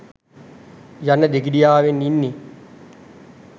යන දෙගිඩියාවෙන් ඉන්නෙ.